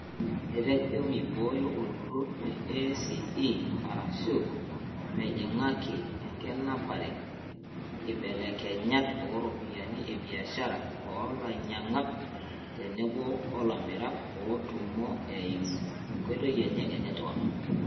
Etejo meibooyo olturur le ACE arashu mejingaki enkinapare, nkibelekenyat ooropiyiani ebiashara oo lanyiankak tenebo olamirak ootummo eimu enkoitoi enye e netwak.